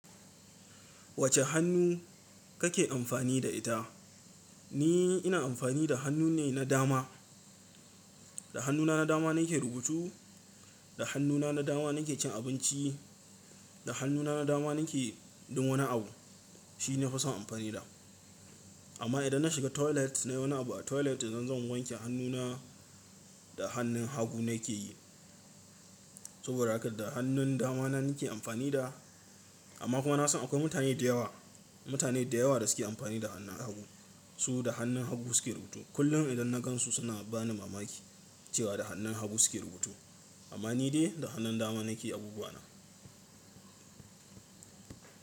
Wacce hannu kake amfani da ita? Ni ina amfani da hannu ne na dama. Da hannuna na dama nake rubutu, da hannuna na dama nake cin abinci, da hannuna na dama nake duk wani abu. Shi nafi son amfani da. Amma idan na shiga toilet na yi wani abu a toilet in zan wanke hannuna, da hannun hagu nake yi. Saboda haka da hannun dama na nake amfani da. Amma kuma na san akwai mutane da yawa, mutane da yawa da suke amfani da hannun hagu. Su da hannun hagu suke rubutu. Kullum idan na gan su suna bani mamaki cewa da hannun hagu suke rubutu. Amma ni dai da hannun dama nake abubuwa na.